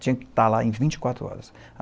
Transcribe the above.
Tinha que estar lá em vinte e quatro horas.